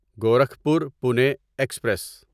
Gorakhpur Pune express